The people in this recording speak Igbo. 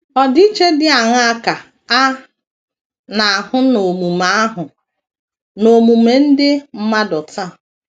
Ọdịiche dị aṅaa ka a na - ahụ n’omume - ahụ n’omume ndị mmadụ taa?